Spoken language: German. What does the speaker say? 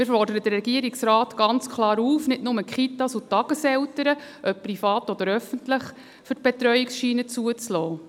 Wir fordern den Regierungsrat ganz klar auf, nicht nur die Kitas und die Tageseltern, ob privat oder öffentlich, für die Betreuungsgutscheine zuzulassen.